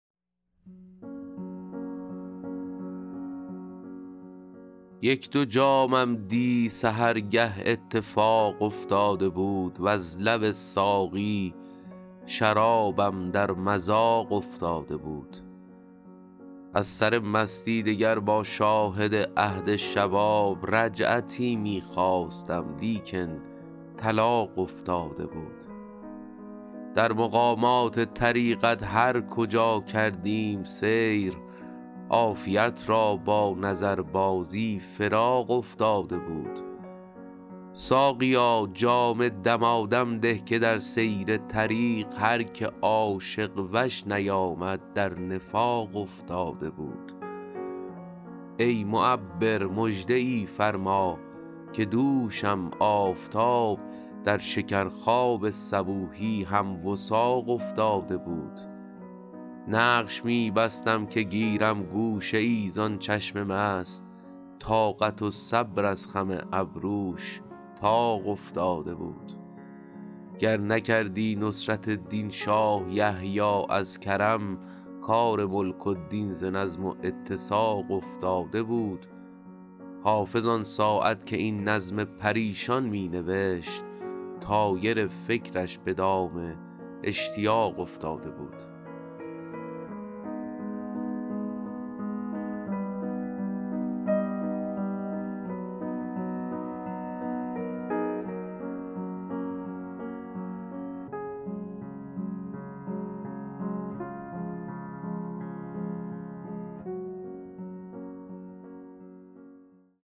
یک دو جامم دی سحرگه اتفاق افتاده بود وز لب ساقی شرابم در مذاق افتاده بود از سر مستی دگر با شاهد عهد شباب رجعتی می خواستم لیکن طلاق افتاده بود در مقامات طریقت هر کجا کردیم سیر عافیت را با نظربازی فراق افتاده بود ساقیا جام دمادم ده که در سیر طریق هر که عاشق وش نیامد در نفاق افتاده بود ای معبر مژده ای فرما که دوشم آفتاب در شکرخواب صبوحی هم وثاق افتاده بود نقش می بستم که گیرم گوشه ای زان چشم مست طاقت و صبر از خم ابروش طاق افتاده بود گر نکردی نصرت دین شاه یحیی از کرم کار ملک و دین ز نظم و اتساق افتاده بود حافظ آن ساعت که این نظم پریشان می نوشت طایر فکرش به دام اشتیاق افتاده بود